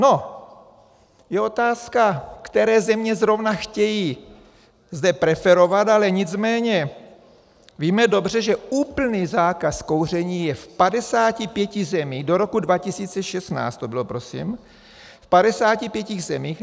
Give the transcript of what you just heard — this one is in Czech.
No, je otázka, které země zrovna chtějí zde preferovat, ale nicméně víme dobře, že úplný zákaz kouření je v 55 zemích, do roku 2016 to bylo prosím, v 55 zemích.